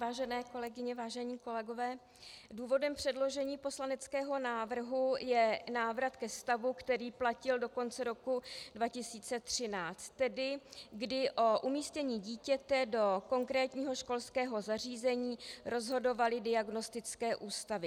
Vážené kolegyně, vážení kolegové, důvodem předložení poslaneckého návrhu je návrat ke vztahu, který platil do konce roku 2013, tedy kdy o umístění dítěte do konkrétního školského zařízení rozhodovaly diagnostické ústavy.